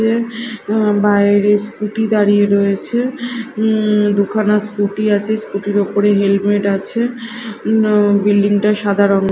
অ্যা বাইরে স্কুটি দাঁড়িয়ে রয়েছে উম দুখানা স্কুটি আছে স্কুটি -র ওপরে হেলমেট আছে বিল্ডিং -টা সাদা রং--